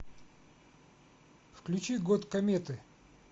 включи год кометы